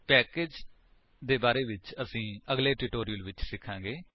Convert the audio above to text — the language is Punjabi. ਪੈਕੇਜੇਸ ਦੇ ਬਾਰੇ ਵਿੱਚ ਅਸੀ ਅਗਲੇ ਟਿਊਟੋਰਿਅਲਸ ਵਿੱਚ ਸਿਖਾਂਗੇ